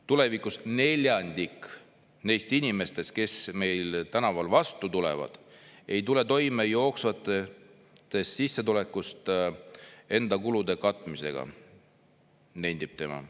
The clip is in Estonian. –, tulevikus neljandik neist inimestest, kes meil tänaval vastu tulevad, ei tule toime jooksvast sissetulekust enda kulude katmisega, nendib tema.